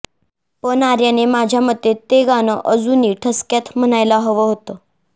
पण आर्याने माझ्यामते ते गाणं अजूनी ठसक्यात म्हणायला हवं होतं